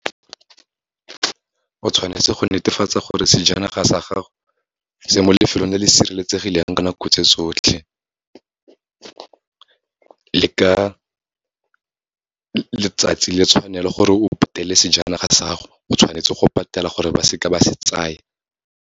O tshwanetse go netefatsa gore sejanaga sa gago, se mo lefelong le le sireletsegileng ka nako tse tsotlhe. Le ka letsatsi, le tshwanelo gore o patele sejanaga sa gago, o tshwanetse go patela gore ba seka ba se tsaya.